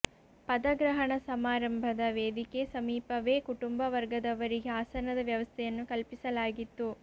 ಪದಗ್ರಹಣ ಸಮಾರಂಭದ ವೇದಿಕೆ ಸಮೀಪವೇ ಕುಟುಂಬ ವರ್ಗದವರಿಗೆ ಆಸನದ ವ್ಯವಸ್ಥೆಯನ್ನು ಕಲ್ಪಿಸಲಾಗಿತ್ತು